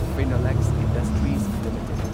Phenolex industries limited